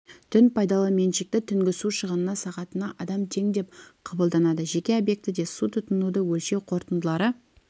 түн пайдалы меншікті түнгі су шығыны сағатына адам тең деп қабылданады жеке объектіде су тұтынуды өлшеу қорытындылары